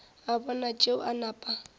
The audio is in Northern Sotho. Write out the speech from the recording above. a bona tšeo a napa